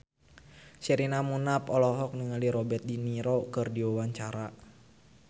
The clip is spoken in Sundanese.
Sherina Munaf olohok ningali Robert de Niro keur diwawancara